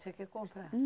Tinha que comprar?